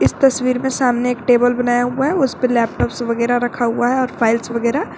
तस्वीर में सामने एक टेबल बनाया हुआ है उस पे लैपटॉप्स वगैरा रखा हुआ है और फाइल्स वगैरा--